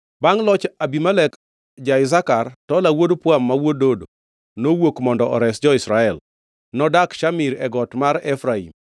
Bangʼ loch Abimelek ja-Isakar, Tola wuod Pua, ma wuod Dodo, nowuok mondo ores jo-Israel. Nodak Shamir, e piny got mar Efraim.